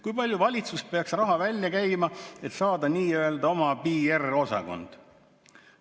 "Kui palju valitsus peaks raha välja käima, et saada nii-öelda oma PR-osakond?